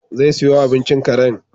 Zai siyo abincin karen